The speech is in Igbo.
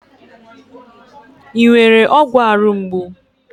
Ị nwere ọgwọ arụ mgbu?